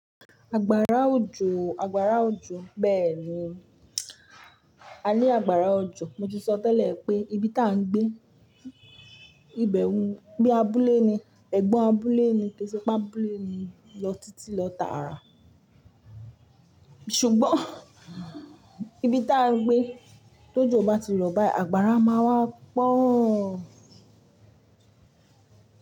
Àgbààrá òjò, àgbààrá òjò bẹ́ẹ̀ni. A ní àgbàrá òjò. Mo ti sọ tẹ́lẹ̀ pé ibi tán gbé, ibẹ̀ hun bi abúlé ni, ẹ̀gbọ́n abúlé ni, ke se pe abúlé ni, lọ títí lọ tààrà. Ṣùgbọ́n, ibi tá n gbé t'ojo bá ti rọ̀ báyìí, àgbààrá má wá pọ́ọ.